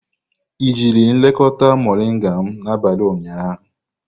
I jiri elekọta moringa m n'abalị ụnyaahụ?